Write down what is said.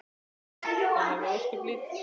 Það hafði ósköp lítil áhrif.